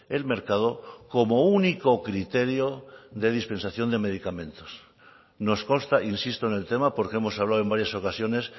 el mercado como único criterio de dispensación de medicamentos nos consta insisto en el tema porque hemos hablado en varias ocasiones